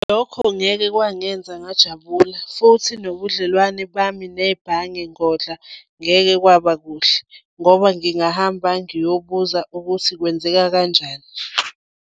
Lokho ngeke kwangenza ngajabula futhi nobudlelwane bami nebhange ngodla ngeke kwaba kuhle ngoba ngingahamba ngiyobuza ukuthi kwenzeka kanjani.